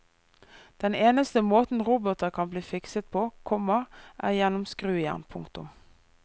Den eneste måten roboter kan bli fikset på, komma er gjennom skrujern. punktum